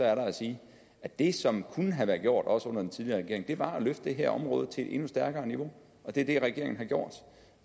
er der at sige at det som kunne have gjort også under den tidligere regering var at løfte det her område til et endnu stærkere niveau og det er det regeringen har gjort